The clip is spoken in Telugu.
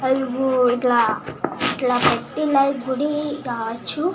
ఆలాగు ఎల్ల్త పెట్టి ఎలా గుడి కావచు ఏది